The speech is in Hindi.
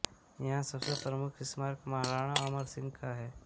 यहां सबसे प्रमुख स्मारक महाराणा अमर सिंह का है